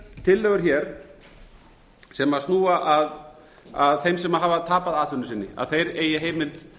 tillögur hér sem snúa að þeim sem hafa tapað atvinnu sinni að þeir fái heimi til